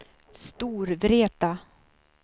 Storvreta